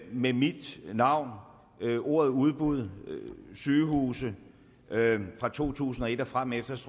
med mit navn og ordene udbud og sygehuse fra to tusind og et og fremefter så